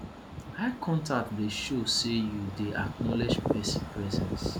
eye contact dey show sey you dey acknowledge pesin presence